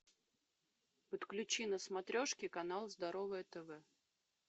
подключи на смотрешке канал здоровое тв